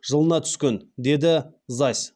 жылына түскен деді зась